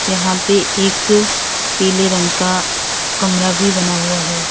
यहां पे एक पीले रंग का कमरा भी बना हुआ है।